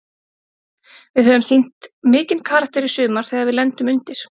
Við höfum sýnt mikinn karakter í sumar þegar við lendum undir.